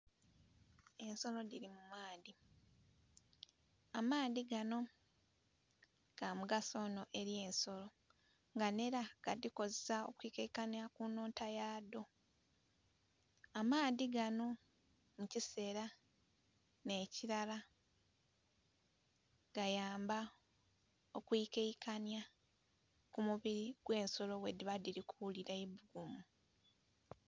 Ensolo dhiri mumaadhi, amaadhi ganho gamugaso inho eri ensolo nga nhera gadhikozesa kwikaikanya kunhonta yadho, amaadhi ganho mukisera nhekirala gayamba okwikaikanya kumubiri ogwensolo bwedhiba dhiri kughulira eibugumu.